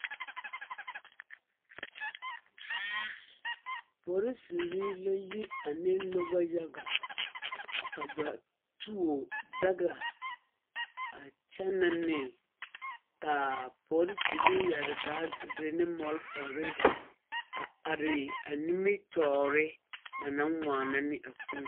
Polisiri la yi ane noba yaga ka ba tuo daga a kyɛnɛ ne ka a polisiri yɛre baagiri ne malfare are nimitɔɔre ba naŋ waana ne a kūū .